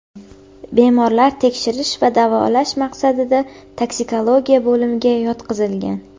Bemorlar tekshirish va davolash maqsadida Toksikologiya bo‘limiga yotqizilgan.